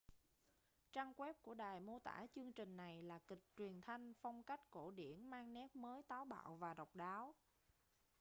trang web của đài mô tả chương trình này là kịch truyền thanh phong cách cổ điển mang nét mới táo bạo và độc đáo